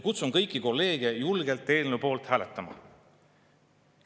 Kutsun kõiki kolleege julgelt eelnõu poolt hääletama.